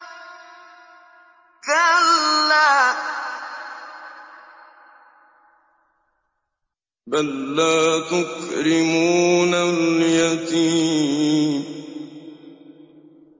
كَلَّا ۖ بَل لَّا تُكْرِمُونَ الْيَتِيمَ